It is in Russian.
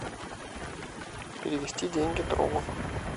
перевести деньги другу